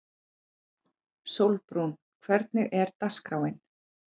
Sólbrún, hvernig er dagskráin?